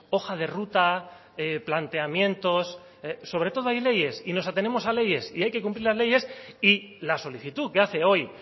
hoja de ruta planteamientos sobre todo hay leyes y nos atenemos a leyes y hay que cumplir las leyes y la solicitud que hace hoy